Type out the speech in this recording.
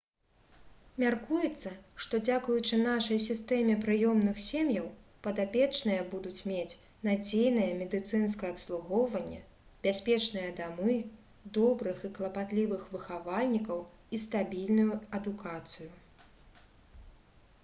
мяркуецца што дзякуючы нашай сістэме прыёмных сем'яў падапечныя будуць мець надзейнае медыцынскае абслугоўванне бяспечныя дамы добрых і клапатлівых выхавальнікаў і стабільную адукацыю